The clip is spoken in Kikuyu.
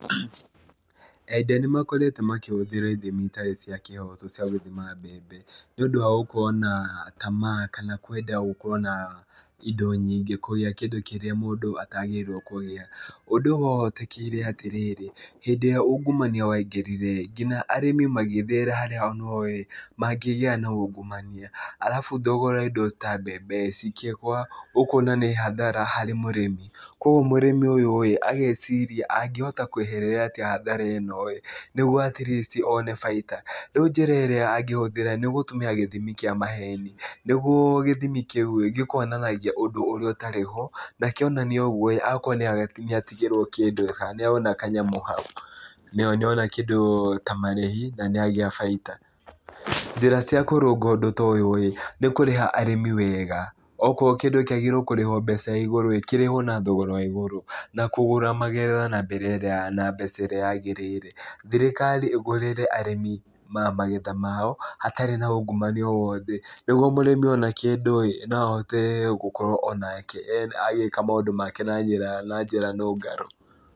Endia nĩ makoretwo makĩhũthĩra ithimi itarĩ cia kĩhooto cia gũthima mbembe. Nĩ ũndũ wa gũkorwo na tamaa kana kwenda gũkorwo na indo nyingĩ kũrĩa kĩndũ kĩrĩa mũndũ atagĩrĩrwo kũrĩa. Ũndũ ũyũ wahotekire atĩrĩrĩ, hĩndĩ ĩrĩa ungumania waingĩrire ĩĩ, nginya arĩmi magithiĩra harĩa onao ĩĩ mangĩgĩa na ungumania. Arabu thogora wa indo ta mbembe ĩĩ, cikĩgũa. Ũkona nĩ hathara harĩ mũrĩmi. Kũguo mũrĩmi ũyũ ĩĩ, ageciria angĩhota kweherera atĩa hathara ĩno ĩĩ nĩguo atleast one baita, rĩu njĩra ĩrĩa angĩhũthĩra nĩ gũtũmĩra gĩthimi kĩa maheni nĩguo gĩthimi kĩu ĩĩ, gĩkonanagia ũndũ ũrĩa ũtarĩ ho, na kĩonania ũguo, agakorwo nĩ atigĩrwo kĩndũ, kana nĩ ona kanyamũ hau, nĩ ona kĩndũ ta marĩhi na nĩ agĩa baita. Njĩra cia kũrũnga ũndũ ta ũyũ ĩĩ, nĩ kũrĩha arĩmi wega. Okorwo kĩndũ kĩagĩrĩirwo kũrĩha mbeca igũrũ kĩrĩhwo na thogora wa igũrũ. Na kũgũra magetha na njĩra na mbeca ĩrĩa yagĩrĩire. Thirikari ĩgũrĩre arĩmi magetha mao, hatarĩ na ungumania o wothe. Nĩguo o mũrĩmi ona kĩndũ ĩĩ, no ahote gũkorwo onake agĩka maũndũ make na njĩra na njĩra nũngaru.